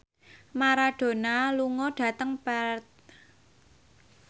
Maradona lunga dhateng Perth